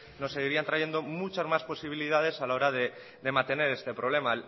nos seguirían trayendo muchas más posibilidades a la hora de mantener este problema